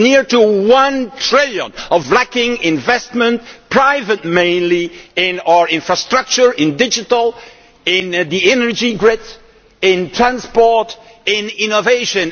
Close to one trillion is lacking in investment private mainly in our infrastructure, in digital, in the energy grid, in transport and in innovation.